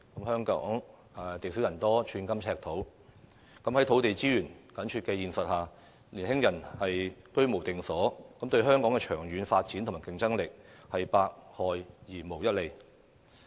香港地少人多，寸金尺土，在土地資源緊絀的現實下，年輕人居無定所，對香港的長遠發展和競爭力是百害而無一利的。